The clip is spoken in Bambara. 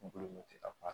Kunkolo bɛ ka baara